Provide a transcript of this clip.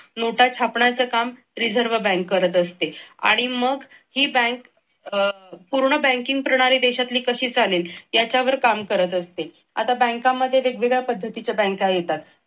नोटा छापण्याचे काम reserve bank करत असते आणि मग ही बँक अह पूर्ण बँकिंग प्रणाली देशातली कशी चालेल याच्यावर काम करत असते. आता बँकांमध्ये वेगवेगळ्या पद्धतीच्या बँका येतात.